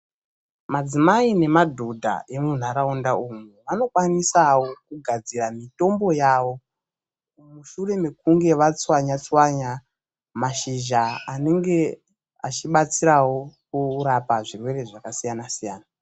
Madzimai nemadhodha emunharaunda umu anokwanisawo kugadzira mitombo yawo, mushure mekunge vatswanya-tswanya mashizha anenge achibatsirawo kurapa zvirwere zvakasiyana-siyana.